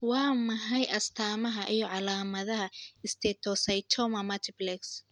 Waa maxay astamaha iyo calaamadaha steatocystoma multiplex?